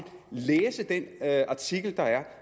læse den artikel der er